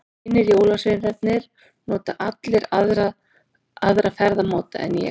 Hinir jólasveinarnir nota allir aðra ferðamáta en ég.